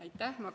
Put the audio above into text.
Aitäh!